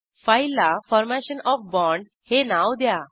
फाईलला formation of bond हे नाव द्या